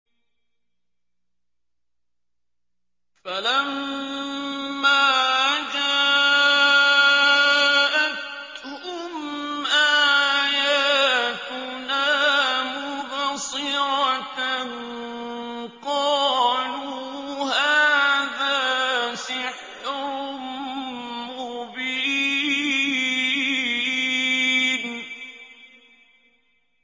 فَلَمَّا جَاءَتْهُمْ آيَاتُنَا مُبْصِرَةً قَالُوا هَٰذَا سِحْرٌ مُّبِينٌ